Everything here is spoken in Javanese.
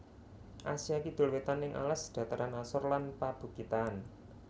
Asia Kidul Wétan ing alas dhataran asor lan pabukitan